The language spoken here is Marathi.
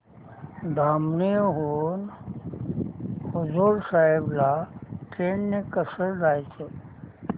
धामणी हून हुजूर साहेब ला ट्रेन ने कसं जायचं